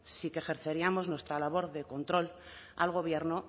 sí que ejerceríamos nuestra labor de control al gobierno